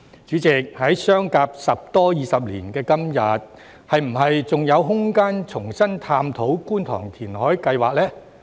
主席，在相隔十多二十年後的今天，是否還有空間重新探討觀塘填海計劃呢？